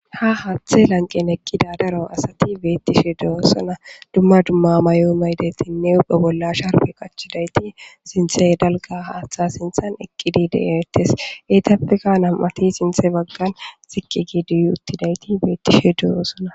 Ha haaththe lanqqen eqqida daro asati beettishe de'osona. Dumma dumma mayo mayidaytinne huphphe bolla sharbbe qachchidaytti sinththe dalgga haaththa sinththan eqqidi de'ettes. Etappekka nami'ati sinththe baggan ziqqi giidi uttiday beettishe de'osona.